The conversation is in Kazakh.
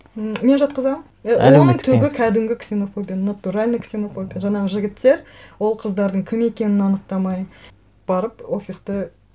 ммм мен жақтызамын і әлеуметтік теңсіздік оның түбі кәдімгі ксенофобия натуральная ксенофобия жаңағы жігіттер ол қыздардың кім екенін анықтамай барып офисты